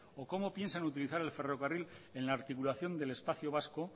o cómo piensan utilizar el ferrocarril en la articulación del espacio vasco